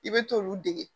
I bɛ t'olu dege